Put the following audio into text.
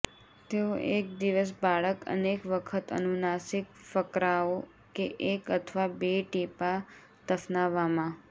તેઓ એક દિવસ બાળક અનેક વખત અનુનાસિક ફકરાઓ કે એક અથવા બે ટીપાં દફનાવવામાં